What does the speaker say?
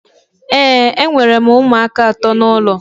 Ee, enwere m ụmụaka ato n'ụlọ